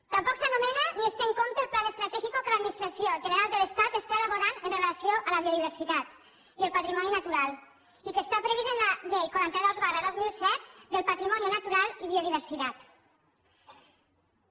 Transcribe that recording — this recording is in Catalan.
tampoc s’anomena ni es té en compte el plan estratégico que l’administració general de l’estat està elaborant amb relació a la biodiversitat i el patrimoni natural i que està previst en la llei quaranta dos dos mil set del patrimonio natural y biodiversidad